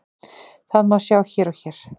Það má sjá hér og hér.